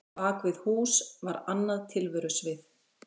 Bak við hús var annað tilverusvið.